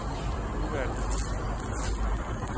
udvalget